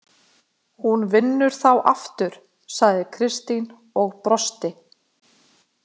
Hún vinnur þá aftur, sagði Kristín og brosti.